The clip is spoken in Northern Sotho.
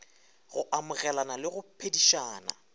go amogelana le go phedišana